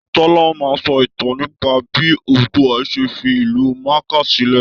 Tọ́lá máa sọ ìtàn nípa bí Oòduà ṣe fi ìlú Makkah sílẹ̀